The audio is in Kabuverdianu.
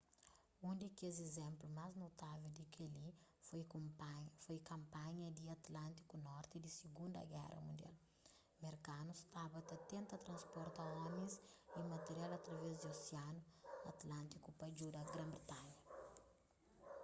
un di kes izénplu más notável di kel-li foi kanpanha di atlântiku norti di sigundu géra mundial merkanus staba ta tenta transporta omis y material através di osianu atlântiku pa djuda gran-britanha